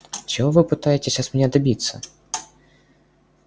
чего вы пытаетесь от меня добиться